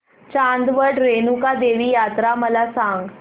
चांदवड रेणुका देवी यात्रा मला सांग